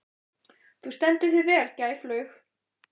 Þú stendur þig vel, Gæflaug!